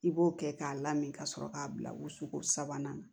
I b'o kɛ k'a lamini ka sɔrɔ k'a bila wusuko sabanan na